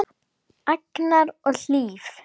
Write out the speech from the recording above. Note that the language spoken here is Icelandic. Agnar og Hlíf.